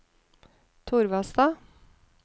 Torvastad